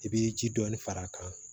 I bɛ ji dɔɔni far'a kan